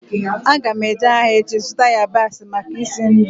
Aga m eje ahịa echi zụta yabasị maka isi nri